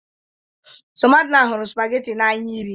Somadina hụrụ spagatin n'anya iri